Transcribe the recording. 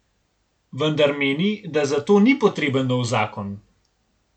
Vendar meni, da zato ni potreben nov zakon.